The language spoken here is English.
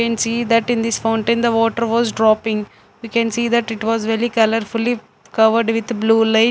we can see that in this fountain the water was dropping we can see that it was covered with blue light.